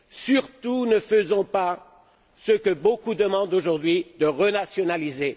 Surtout, ne faisons pas ce que beaucoup demandent aujourd'hui renationaliser.